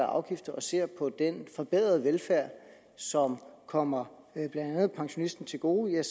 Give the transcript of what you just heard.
afgifter og ser på den forbedrede velfærd som kommer blandt andet pensionisten til gode